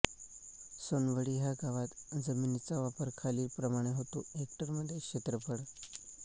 सोनवडी ह्या गावात जमिनीचा वापर खालीलप्रमाणे होतो हेक्टरमध्ये क्षेत्रफळ